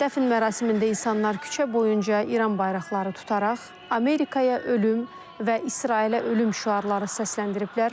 Dəfn mərasimində insanlar küçə boyunca İran bayraqları tutaraq Amerikaya ölüm və İsrailə ölüm şüarları səsləndiriblər.